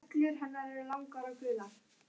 Fannar, syngdu fyrir mig „Það skrifað stendur“.